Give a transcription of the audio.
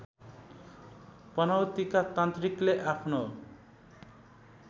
पनौतीका तान्त्रिकले आफ्नो